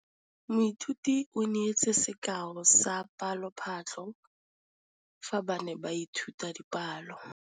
Moithuti o neetse sekaô sa palophatlo fa ba ne ba ithuta dipalo.